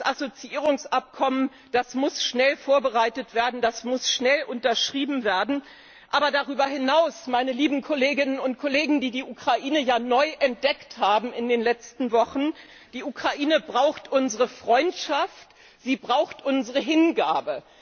Das Assoziierungsabkommen, das muss schnell vorbereitet werden und schnell unterschrieben werden. Aber darüber hinaus, meine lieben Kolleginnen und Kollegen, die die Ukraine ja neu entdeckt haben in den letzten Wochen, braucht die Ukraine unsere Freundschaft, sie braucht unsere Hingabe.